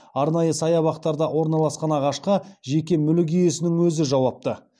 арнайы саябақтарда орналасқан ағашқа жеке мүлік иесінің өзі жауапты